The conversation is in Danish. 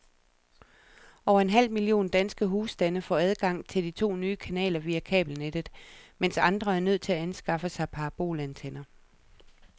Over en halv million danske husstande får adgang til de to nye kanaler via kabelnettet, mens andre er nødt til at anskaffe sig parabolantenner.